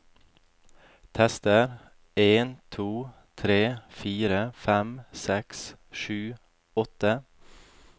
Tester en to tre fire fem seks sju åtte